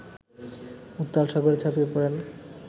উত্তাল সাগরে ঝাঁপিয়ে পড়েন